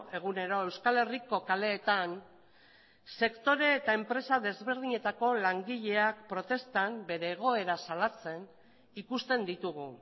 egunero euskal herriko kaleetan sektore eta enpresa desberdinetako langileak protestan bere egoera salatzen ikusten ditugu